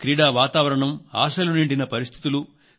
క్రీడావాతావరణం ఆశలు నిండిన పరిస్థితులు